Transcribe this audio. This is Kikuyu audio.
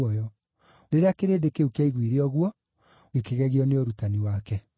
Rĩrĩa kĩrĩndĩ kĩu kĩaiguire ũguo, gĩkĩgegio nĩ ũrutani wake.